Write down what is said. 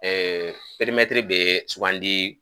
bɛ sugandi